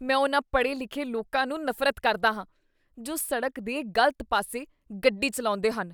ਮੈਂ ਉਹਨਾਂ ਪਡ਼੍ਹੇ ਲਿਖੇ ਲੋਕਾਂ ਨੂੰ ਨਫ਼ਰਤ ਕਰਦਾ ਹਾਂ ਜੋ ਸਡ਼ਕ ਦੇ ਗਲਤ ਪਾਸੇ ਗੱਡੀ ਚੱਲਾਉਂਦੇ ਹਨ